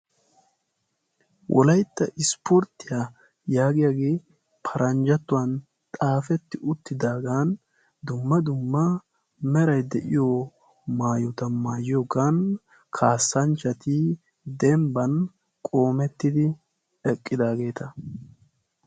Wolaytta ispporttiya yagoyagge paranjattuwan xaafetti uttidagan dumma dumma meray de'iyo maayotta maayiyogan kaasanchchati dembban qoometidi eqidagetta.